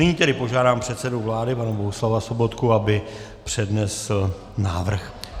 Nyní tedy požádám předsedu vlády pana Bohuslava Sobotku, aby přednesl návrh.